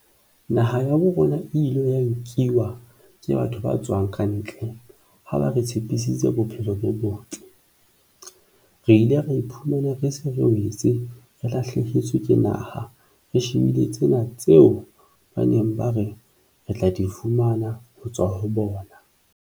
Naha ya bo rona e ile ya nkiwa ke batho ba tswang ka ntle, ha ba re tshepisitse bophelo bo botle. Re ile ra iphumana re se re wetse, re lahlehetswe ke naha, re shebile tsena tseo ba neng ba re re tla di fumana ho tswa ho bona.